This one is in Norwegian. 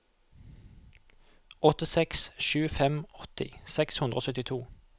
åtte seks sju fem åtti seks hundre og syttito